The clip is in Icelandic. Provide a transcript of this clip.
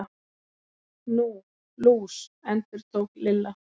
Nú, lús. endurtók Lilla.